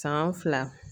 San fila